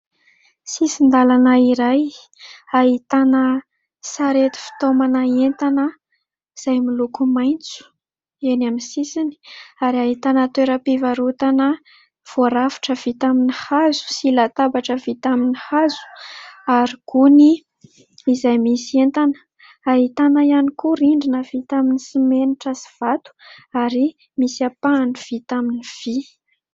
Sisin-dalana iray ahitana sarety fitaomana entana izay miloko maitso eny amin'ny sisiny ary ahitana toeram-pivarotana voarafitra vita amin'ny hazo, sy latabatra vita amin'ny hazo ary gony izay misy entana ; ahitana ihany koa rindrina vita amin'ny simenitra sy vato ary misy ampahany vita amin'ny vy.